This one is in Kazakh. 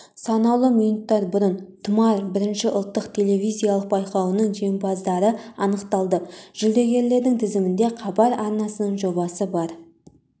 санаулы минуттар бұрын тұмар бірінші ұлттық телевизиялық байқауының жеңімпаздары анықталды жүлдегерлердің тізімінде хабар арнасының жобасы бар